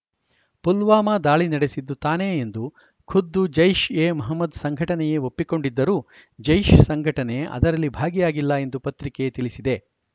ಪುಲ್ವಾಮಾ ದಾಳಿ ನಡೆಸಿದ್ದು ತಾನೇ ಎಂದು ಖುದ್ದು ಜೈಷ್‌ ಎ ಮೊಹಮ್ಮದ್‌ ಸಂಘಟನೆಯೇ ಒಪ್ಪಿಕೊಂಡಿದ್ದರೂ ಜೈಷ್‌ ಸಂಘಟನೆ ಅದರಲ್ಲಿ ಭಾಗಿಯಾಗಿಲ್ಲ ಎಂದು ಪತ್ರಿಕೆ ತಿಳಿಸಿದೆ